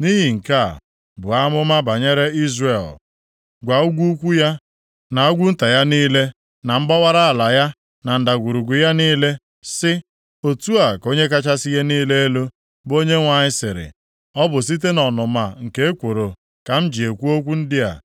Nʼihi nke a, buo amụma banyere Izrel, gwa ugwu ukwu ya na ugwu nta ya niile, na mgbawara ala ya, na ndagwurugwu ya niile, sị, ‘Otu a ka Onye kachasị ihe niile elu, bụ Onyenwe anyị sịrị, ọ bụ site nʼọnụma nke ekworo ka m ji ekwu okwu ndị a,